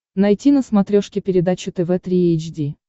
найти на смотрешке передачу тв три эйч ди